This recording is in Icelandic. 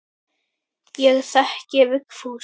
Ég þekki Vigfús.